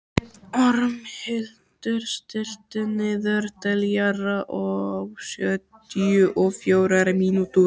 Ormhildur, stilltu niðurteljara á sjötíu og fjórar mínútur.